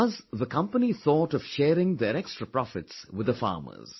Thus, the company thought of sharing their extra profits with the farmers